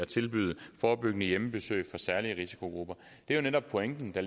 tilbyder forebyggende hjemmebesøg for særlige risikogrupper det er netop pointen der